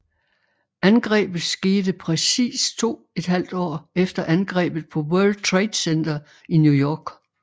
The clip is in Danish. Angrebet skete præcis to et halvt år efter angrebet på World Trade Center i New York